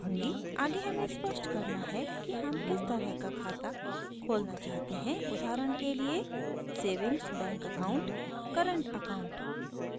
आगे हमें स्पष्ट करना है कि हम किस तरह का खाता खोलना चाहते हैं उदाहरण के लिए savings bank account current account